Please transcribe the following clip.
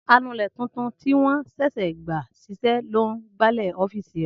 Anulẹ̀ tuntun tí wọ́n sẹ̀sẹ̀ gbà ṣiṣẹ́ ló n gbálẹ̀ ọ́fìsì rẹ